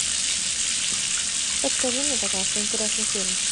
подскажи мне пожалуйста интересный фильм